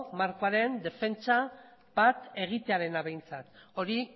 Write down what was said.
markoaren defentsa bat egitearena behintzat hori